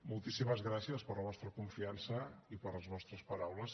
moltíssimes gràcies per la vostra confiança i per les vostres paraules